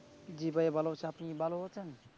জ্বী ভাইয়া ভালো আছি । আপনি কী ভালো আছেন?